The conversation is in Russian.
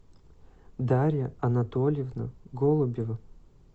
дарья анатольевна голубева